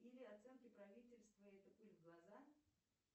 или оценки правительства это пыль в глаза